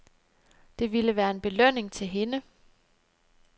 Det ville være en belønning til hende.